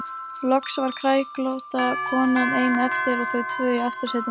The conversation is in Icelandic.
Loks var kræklótta konan ein eftir og þau tvö í aftursætinu.